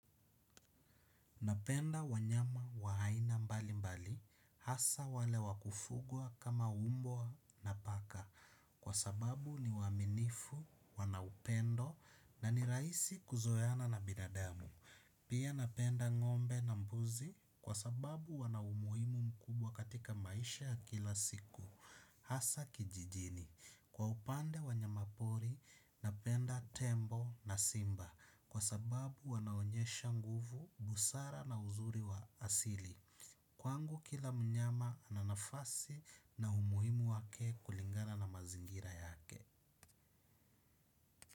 Napenda wanyama wa aina mbali mbali hasa wale wakufugwa kama mbwa na paka kwa sababu ni waaminifu wana upendo na ni rahisi kuzoeana na binadamu. Pia napenda ngombe na mbuzi kwa sababu wana umuhimu mkubwa katika maisha ya kila siku. Hasa kijijini. Kwa upande wa wanyama pori, napenda tembo na simba kwa sababu wanaonyesha nguvu, busara na uzuri wa asili. Kwangu kila mnyama ana nafasi na umuhimu wake kulingana na mazingira yake.